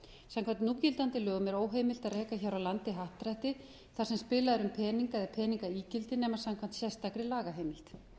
samkvæmt núgildandi lögum er óheimilt að reka hér á landi happdrætti þar sem spilað er um peninga eða peningaígildi nema samkvæmt sérstakri lagaheimild